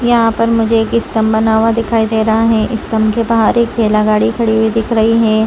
यहाँ पे मुझे एक स्तम्भ बना हुआ दिखाई दे रहा है स्तम्भ के बाहर एक ठेला गाड़ी खड़ी हुई दिख रही है।